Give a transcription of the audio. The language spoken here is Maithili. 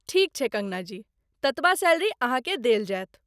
ठीक छै कङ्गना जी, ततबा सैलरी अहाँ के देल जायत।